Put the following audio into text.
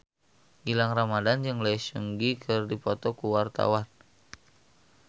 Gilang Ramadan jeung Lee Seung Gi keur dipoto ku wartawan